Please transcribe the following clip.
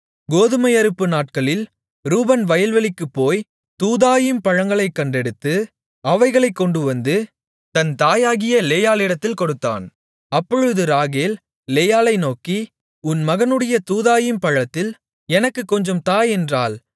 கோதுமை அறுப்பு நாட்களில் ரூபன் வயல்வெளிக்குப் போய் தூதாயீம் பழங்களைக் கண்டெடுத்து அவைகளைக் கொண்டுவந்து தன் தாயாகிய லேயாளிடத்தில் கொடுத்தான் அப்பொழுது ராகேல் லேயாளை நோக்கி உன் மகனுடைய தூதாயீம் பழத்தில் எனக்குக் கொஞ்சம் தா என்றாள்